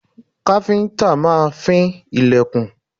Káfíńńtà máa fín ilẹ̀kùn.